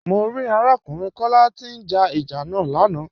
Mọ̀ rí arákùnrin Kọla tí n já ìjà lànà.